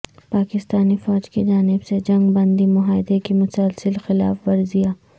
پاکستانی فوج کی جانب سے جنگ بندی معاہدے کی مسلسل خلاف ورزیاں